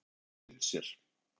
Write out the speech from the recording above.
Þessi hafa öll gleymt sér!